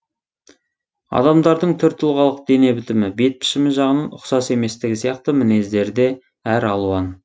адамдардың түр тұлғалық дене бітімі бет пішімі жағынан ұқсас еместігі сияқты мінездері де әр алуан